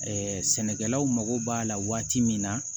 sɛnɛkɛlaw mako b'a la waati min na